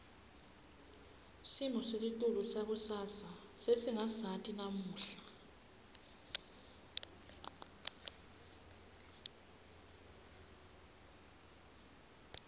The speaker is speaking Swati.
simo selitulu sangakusasa sesingasati namuhla